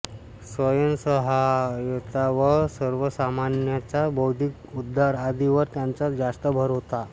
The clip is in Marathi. स्वयंसहायता व सर्वसामान्यांचा बौद्धिक उद्धार आदींवर त्यांचा जास्त भर होता